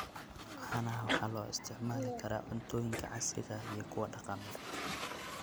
Caanaha waxaa loo isticmaali karaa cuntooyinka casriga ah iyo kuwa dhaqameed.